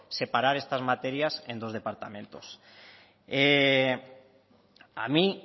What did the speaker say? separar estas materias en dos departamentos a mí